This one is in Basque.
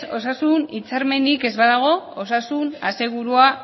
osasun hitzarmenik ez badago osasun asegurua